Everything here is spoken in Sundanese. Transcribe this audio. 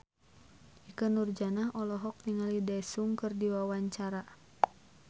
Ikke Nurjanah olohok ningali Daesung keur diwawancara